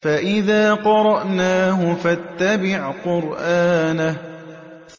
فَإِذَا قَرَأْنَاهُ فَاتَّبِعْ قُرْآنَهُ